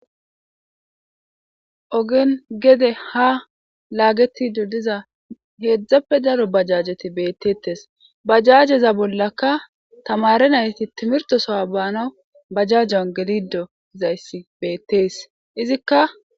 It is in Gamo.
ogin gede ha laagetido diza heedzdzappe daro bajajeti beettettes bajajeza bollaka tamare nayti timirtosowa baana bajajon gelido zayssi beettees izikka